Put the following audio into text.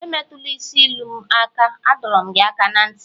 emetula isi ilu m aka, adọrum gi aka na nti!